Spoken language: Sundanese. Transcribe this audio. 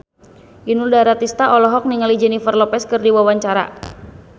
Inul Daratista olohok ningali Jennifer Lopez keur diwawancara